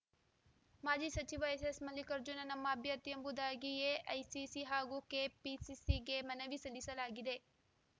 ಮಾಜಿ ಸಚಿವ ಎಸ್ಸೆಸ್‌ ಮಲ್ಲಿಕಾರ್ಜುನ ನಮ್ಮ ಅಭ್ಯರ್ಥಿಯೆಂಬುದಾಗಿ ಎಐಸಿಸಿ ಹಾಗೂ ಕೆಪಿಸಿಸಿಗೆ ಮನವಿ ಸಲ್ಲಿಸಲಾಗಿದೆ